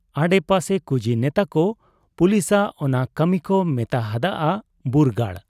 ᱟᱰᱮ ᱯᱟᱥᱮ ᱠᱩᱡᱤ ᱱᱮᱛᱟᱠᱚ ᱯᱩᱞᱤᱥᱟᱜ ᱚᱱᱟ ᱠᱟᱹᱢᱤᱠᱚ ᱢᱮᱛᱟ ᱦᱟᱫ ᱟ ᱵᱩᱨᱜᱟᱹᱲ ᱾